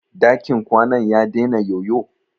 Dakin kwanan ya dena yoyo?